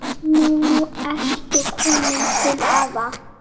Nú ertu komin til afa.